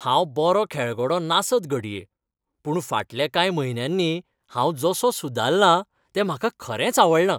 हांव बरो खेळगडो नासत घडये पूण फाटल्या कांय म्हयन्यांनी हांव जसो सुदारलां तें म्हाका खरेंच आवडलां.